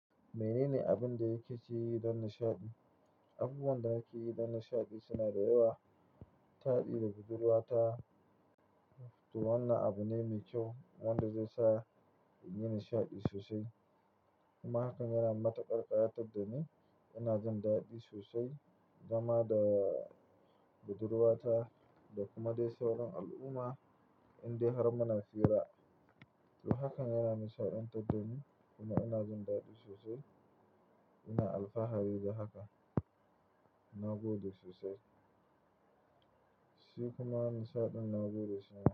Mene ne abin da yake ci don nishaɗi? Abubuwan da ake yi don nishaɗi suna da yawa. Taɗi da budurwata, to wannan abu ne mai kyau wanda zai sa in yi nishaɗi sosai. Kuma hakan yana matukar ƙayatar da ni, yana jan daɗi sosai, zama da budurwata da kuma dai sauran al'umma indai har muna fira. To hakan yana nishaɗantar da ni kuma ina jin daɗi sosai. Ina alfahari da haka, na gode sosai. Shi kuma nishaɗin na gode shima.